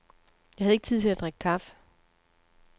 Jeg havde ikke tid til at drikke kaffe.